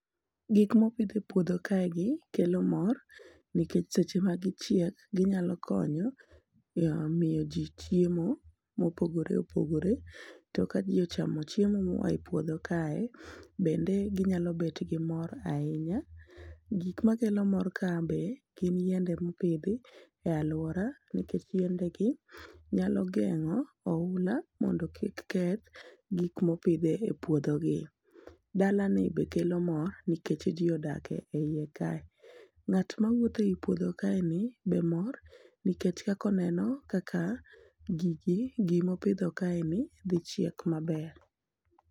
gik mopidh e puodho kae gi chalo ng'or nikech seche magi chiek ginyalo konyo mar miyo ji mopogore opogore, to ka ji ochamo moa e puodho kae bende ginyalo bet gi mor ahinya ,gik makelo mor ka be gin yiende mopidh e aluora nikech yiende gi nyalo geng'o oula mondo kik keth gik mopidh e puothe gi, bana ni be kelo mor nikech ji odak e iye kae, ng'at mawuok e puodho kae ni be mor nikech kaka oneno kaka gigi gimo pidho kae ni dhi chiek maber.